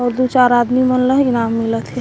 अउ दू चार आदमी मन ल इनाम मिलत हे।